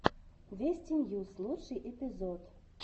вести ньюс лучший эпизод